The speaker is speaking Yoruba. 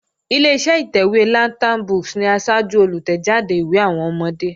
Ileṣẹ́ ìtẹ̀wé Lantern books ni asájú olùtẹ̀jáde ìwé àwọn ọmọdé